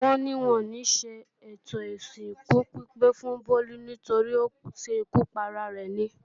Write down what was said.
Ó ní wọn ò níṣe ètò ìsìnkú pípé fún Bólú torípé ó ṣekú para rẹ̀ ni